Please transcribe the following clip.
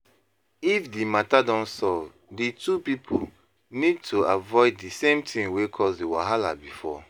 If di matter don solve di two pipo need to avoid di same thing wey cause di wahala before